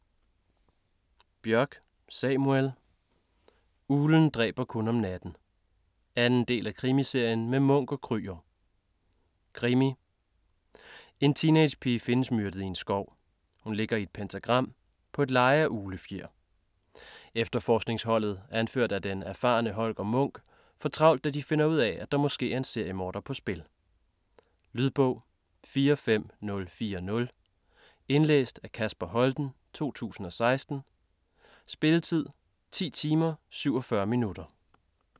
Bjørk, Samuel: Uglen dræber kun om natten 2. del af Krimiserien med Munch & Krüger. Krimi. En teenagepige findes myrdet i en skov. Hun ligger i et pentagram. På et leje af uglefjer. Efterforskningsholdet, anført af den erfarne Holger Munch, får travlt da de finder ud af, at der måske er en seriemorder på spil. Lydbog 45040 Indlæst af Kasper Holten, 2016. Spilletid: 10 timer, 47 minutter.